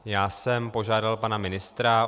Já jsem požádal pana ministra.